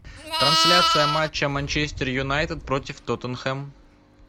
трансляция матча манчестер юнайтед против тоттенхэм